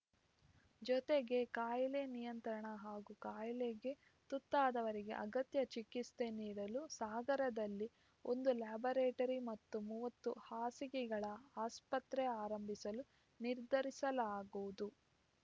ಜತೆಗೆ ಕಾಯಿಲೆ ನಿಯಂತ್ರಣ ಹಾಗೂ ಕಾಯಿಲೆಗೆ ತುತ್ತಾದವರಿಗೆ ಅಗತ್ಯ ಚಿಕಿತ್ಸೆ ನೀಡಲು ಸಾಗರದಲ್ಲಿ ಒಂದು ಲ್ಯಾಬೊರೇಟರಿ ಮತ್ತು ಮೂವತ್ತು ಹಾಸಿಗೆಗಳ ಆಸ್ಪತ್ರೆ ಪ್ರಾರಂಭಿಸಲು ನಿರ್ಧರಿಸಲಾಗುವುದು